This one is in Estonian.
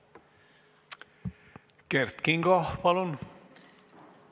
Kert Kingo, palun!